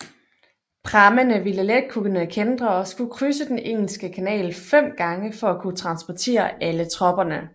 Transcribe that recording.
Prammene ville let kunne kæntre og skulle krydse den Engelske Kanal fem gange for at kunne transportere alle tropperne